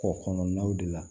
Kɔkɔ kɔnɔnaw de la